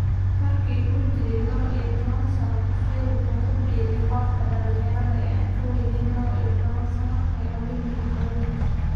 Markii uu jiray lawa iyo towan sano, Fekir wuxuu ku biiray kooxda dhalinyarada ee aan ka weynayn lawo iyo tawan sano ee Olympique Lyonnais.